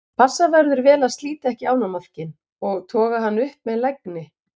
passa verður vel að slíta ekki ánamaðkinn og toga hann upp með lagni